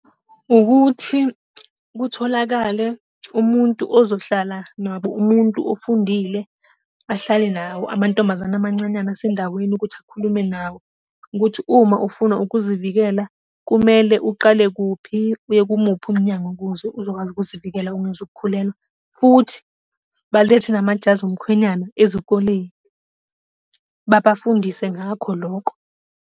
Ukuthi kutholakale umuntu ozohlala nabo, umuntu ofundile, ahlale nawo amantombazane amancanyana asendaweni ukuthi akhulume nawo. Ukuthi uma ufuna ukuzivikela, kumele uqale kuphi, uye kumuphi umnyango ukuze uzokwazi ukuzivikela ungezukukhulelwa. Futhi balethe namajazi omkhwenyana ezikoleni, babafundise ngakho lokho.